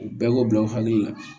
O bɛɛ k'o bila u hakili la